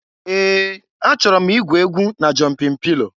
Ee! Achọrọ m igwu egwu na jọmpịn pilo.